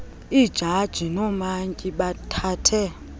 iijaji noomantyi bathathe